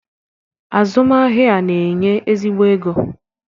Azụmahịa a na-enye ezigbo ego.